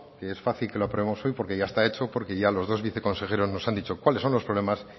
que es fácil que lo aprobemos hoy porque ya está hecho porque ya los dos viceconsejeros nos han dicho cuáles son los problemas